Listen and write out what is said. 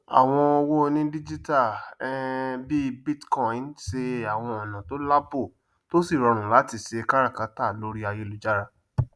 àwọn owó onídíjítà um bí bitcoin se àwọn ọnà tó lààbò tó sí rọrùn latí se káràkátà lorí ayélujára